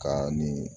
Ka ni